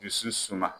Dusu suma